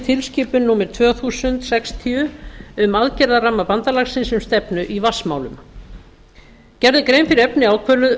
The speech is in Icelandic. tilskipun númer tvö þúsund sextíu um aðgerðaramma bandalagsins um stefnu í vatnsmálum gerð er grein fyrir efni